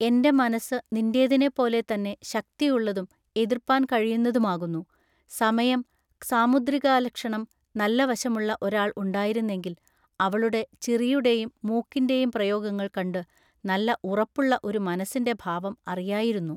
എന്റെ മനസ്സു നിന്റേതിനെ പോലെ തന്നെ ശക്തിയുള്ളതും എതൃപ്പാൻ കഴിയുന്നതുമാകുന്നു ൟ സമയം സാമുദ്രികാലക്ഷണം നല്ല വശമുള്ള ഒരാൾ ഉണ്ടായിരുന്നെങ്കിൽ അവളുടെ ചിറിയുടെയും മൂക്കിന്റെയും പ്രയോഗങ്ങൾ കണ്ടു നല്ല ഉറപ്പുള്ള ഒരു മനസ്സിന്റെ ഭാവം അറിയായിരുന്നു.